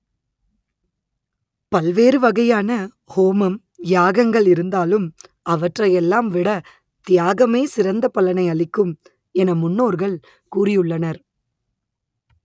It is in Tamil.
பல்வேறு வகையான ஹோமம் யாகங்கள் இருந்தாலும் அவற்றை எல்லாம் விட தியாகமே சிறந்த பலனை அளிக்கும் என முன்னோர்கள் கூறியுள்ளனர்